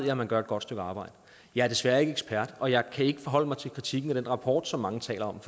at man gør et godt stykke arbejde jeg er desværre ikke ekspert og jeg kan ikke forholde mig til kritikken af den rapport som mange taler om